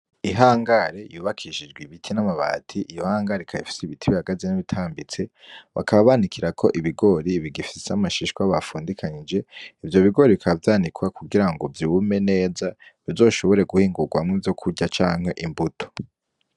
Ihangari yubakishijwe ibiti n'amabati iyo hangare ikaba ifise ibiti bihagaze n'ibitambitse bakaba banikira ko ibigori bigifise amashishwa bapfundikanyije ivyo bigori bikabavyanikwa kugira ngo vyume neza bizoshobore guhingurwamwo ivyokurya canke imbuto.